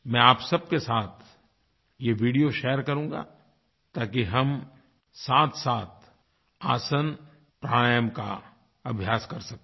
मैं आप सबके साथ यह वीडियो शेयर करूँगा ताकि हम साथसाथ आसन प्राणायाम का अभ्यास कर सकें